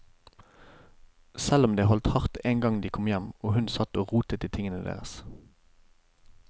Selv om det holdt hardt en gang de kom hjem, og hun satt og rotet i tingene deres.